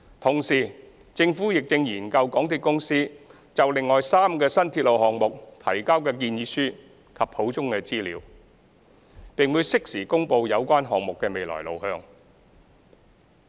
同時，政府亦正研究港鐵公司就另外3個新鐵路項目提交的建議書及補充資料，並會適時公布有關項目的未來路向。